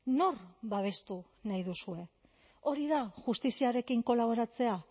nor babestu nahi duzue hori da justiziarekin kolaboratzea